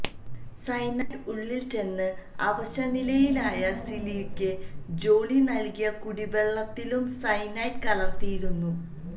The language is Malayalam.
സയനൈഡ് ഉള്ളിൽച്ചെന്ന് അവശനിലയിലായ സിലിയ്ക്ക് ജോളി നല്കിയ കുടിവെള്ളത്തിലും സയനൈഡ് കലര്ത്തിയിരുന്നു